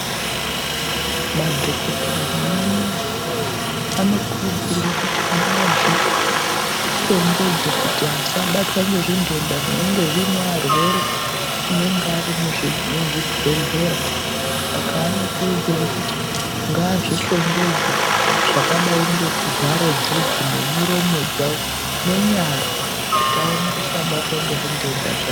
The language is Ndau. Madhokoteya nemanesi anokurudzirwe kuti ngaazvihlongedze kuti asabatwa ngezvinhenda zvinenge zviine arwere anenge vari muzvibhehleya saka anokurudzirwe kuti ngaazvinhlogendze zvakdai ngekuvhara bvudzi nemiromo dzawo nenyara kuti asaone kubatwa ngezvinhenda zva...